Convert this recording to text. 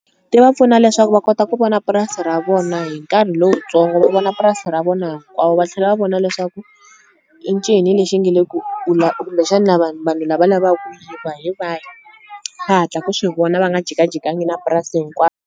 Ti va pfuna leswaku va kota ku vona purasi ra vona hi nkarhi lowutsongo u vona purasi ra vona hinkwavo va tlhela va vona leswaku i ncini lexi nge le ku kumbexani vanhu lava lavaku yiva hi vahi va hatla ku swi vona va nga jikajikangi na purasi .